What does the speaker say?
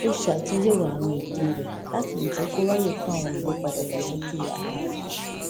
ó ṣe àtúnyẹwò àwọn ètò rẹ láti lè jẹ kó ráyè fún àwọn ìlépa ìdàgbàsókè ara rè